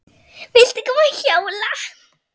Viltu koma að hjóla?